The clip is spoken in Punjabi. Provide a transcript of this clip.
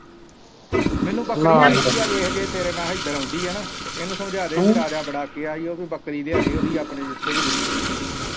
ਮੈਨੂੰ ਬੱਕਰੀ ਚਾਹੀਦੀ ਆ ਵੇਖ ਜੇ ਤੇਰੇ ਨਾਲ ਹਿਦਰ ਆਉਂਦੀ ਆ ਨਾ ਇੰਨੂ ਸਮਝਾਦੇ ਕਿ ਰਾਜਾ ਬੜਾ ਅੱਕਿਆ ਓ ਤੂੰ ਬੱਕਰੀ ਲਿਆਂਦੇ ਓਦੀ ਆਪਣੇ ਜਿੱਥੇ ਵੀ ਦਿੱਤੀ ਆ।